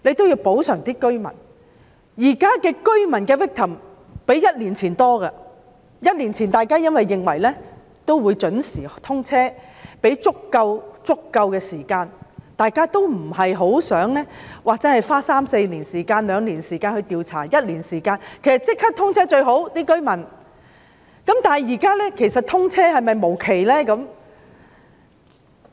現時受害居民的數目較一年前更多，在一年前，大家認為沙中線會準時通車，所以便給予足夠時間，大家都不希望花一兩年或三四年時間作調查，其實居民亦認為立即通車是最好的，那麼現時是否通車無期呢？